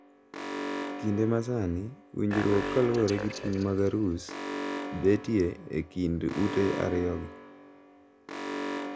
Kinde masani winjruok kaluwore gi ting` mag arus betie e kind ute ariyogi.